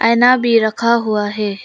आईना भी रखा हुआ है।